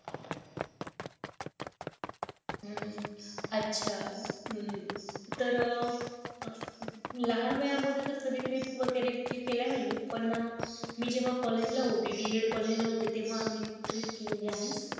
हम्म अच्छा हम्म तर लहान वयामध्ये तर कधी trip केला नाही ण मी जेव्हा college ला होती BEDcollege ला होते तेव्हा आम्ही trip केली आहे